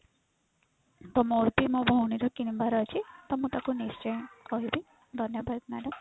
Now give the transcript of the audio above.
ତ ମୋର ବି ମୋ ଭଉଣୀ ର କିଣିବାର ଅଛି ତ ମୁଁ ତାକୁ ନିଶ୍ଚୟ କହିବି ଧନ୍ୟବାଦ madam।